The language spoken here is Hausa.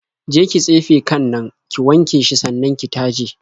Je ki tsefe kan nan, ki wanke shi sannan ki taje.